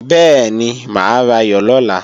Bẹ́ẹ̀ni, mà á rayọ̀ lọ́la